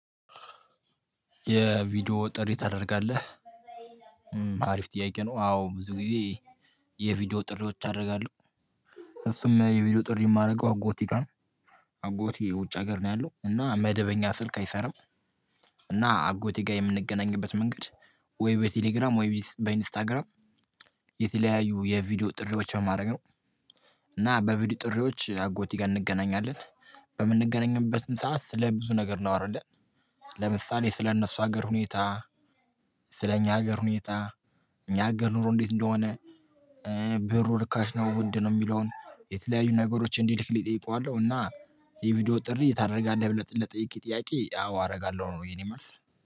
የቪዲዮ ጥሪ ታደርጋለህ? አሪፍ ጥያቄ ነው አዎ ብዙ ጊዜ የቪዲዮ ጥሪዎች አደርጋለሁ። እሱም የቪዲዮ ጥሪ የማደርገው አጎቴ ጋር አጎቴ ውጭ ሀገር ነው ያለው እና መደበኛ ስልክ አይሰራም። እና አጎቴ ጋር የምንገናኝበት መንገድ ወይ በቴሌግራም ወይ በኢንስታግራም። የተለያዩ የቪዲዮ ጥሪዎች በማድረግ ነው። እና በቪዲዮ ጥሪዎች አጎቴ ጋር እንገናኛለን። በምንገናኝበትም ሰዓት ስለ ብዙ ነገር ነው አይደለም። ለምሳሌ ስለእነሱ ሀገር ሁኔታ ስለእኛ ሀገር ሁኔታ እኛ ሀገር ኑሮ እንዴት እንደሆነ? ብሩ ርካሽ ነው ውድ ነው የሚለውን የተለያዩ ነገሮች እንዲልክልኝ እጠይለው። እና የቪዲዮ ጥሪ ታደርጋለህ ብለህ ለጠየከኝ ጥያቄ አዎ አደርጋለሁ ነው። የኔ መልስ